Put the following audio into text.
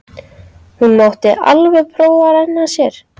Hún mátti alveg prófa að renna sér.